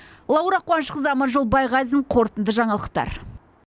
лаура қуанышқызы аманжол байғазин қорытынды жаңалықтар